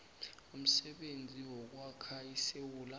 umsebenzi wokwakha isewula